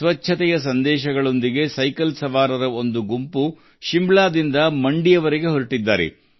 ಸ್ವಚ್ಛತೆಯ ಸಂದೇಶ ಸಾರುವ ಸೈಕ್ಲಿಸ್ಟ್ಗಳ ಸೈಕಲ್ ಸವಾರರ ಗುಂಪು ಶಿಮ್ಲಾದಿಂದ ಮಂಡಿಗೆ ಹೊರಟಿದೆ